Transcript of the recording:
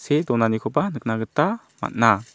see donanikoba nikna gita man·a.